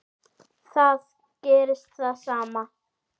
Þar gerðist það sama.